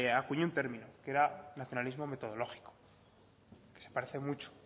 acuñó un término que era nacionalismo metodológico que se parece mucho